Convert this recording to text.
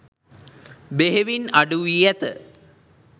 බෙහෙවින් අඩුවී ඇත